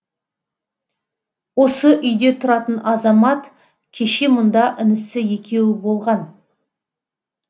осы үйде тұратын азамат кеше мұнда інісі екеуі болған